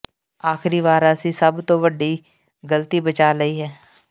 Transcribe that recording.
ਆਖਰੀ ਵਾਰ ਅਸੀਂ ਸਭ ਤੋਂ ਵੱਡੀ ਗ਼ਲਤੀ ਬਚਾ ਲਈ ਹੈ